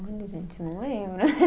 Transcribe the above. Olha, gente, não lembro.